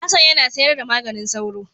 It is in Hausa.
Hassan yana sayar da maganin sauro.